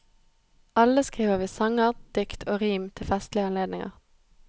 Alle skriver vi sanger, dikt og rim til festlige anledninger.